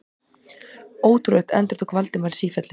Ótrúlegt endurtók Valdimar í sífellu.